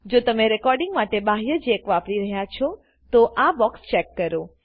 જો તમે રેકોડીંગ માટે બાહ્ય જેક વાપરી રહ્યા છો તોઆ બોક્સ ચેક કરો